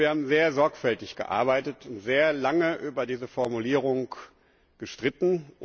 Wir haben sehr sorgfältig gearbeitet und sehr lange über diese Formulierung gestritten.